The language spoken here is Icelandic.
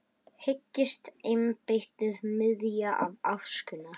Hyggst embættið biðja þá afsökunar?